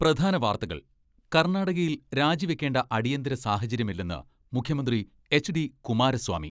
പ്രധാനവാർത്തകൾ കർണാടകയിൽ രാജിവെക്കേണ്ട അടിയന്തര സാഹചര്യമില്ലെന്ന് മുഖ്യമന്ത്രി എച്ച്.ഡി കുമാരസ്വാമി.